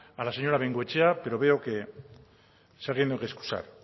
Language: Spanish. a la señora de bengoechea pero veo que saliendo que excusar